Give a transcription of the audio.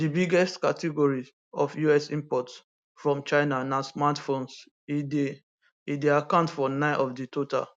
di biggest category of us imports from china na smartphones e dey e dey account for 9 of di total